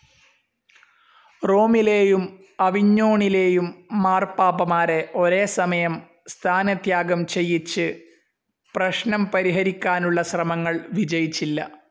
റോമിലേയും അവിഞ്ഞോണിലേയും മാർപ്പാപ്പമാരെ ഒരേസമയം സ്ഥാനത്യാഗം ചെയ്യിച്ചു പ്രശ്നം പരിഹരിക്കാനുള്ള ശ്രമങ്ങൾ വിജയിച്ചില്ല.